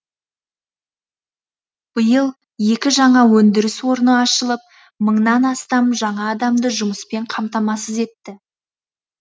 биыл екі жаңа өндіріс орны ашылып мыңнан астам жаңа адамды жұмыспен қамтамасыз етті